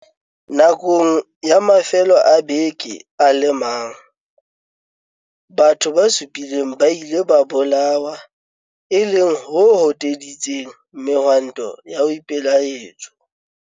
Nakong ya mafelo a beke a le mang, batho ba supileng ba ile ba bolawa, e leng ho hoteditseng mehwanto ya boipelaetso.